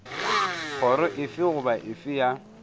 kgoro efe goba efe ya